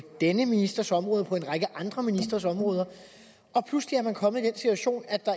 denne ministers område og på en række andre ministres områder pludselig er man kommet i den situation at der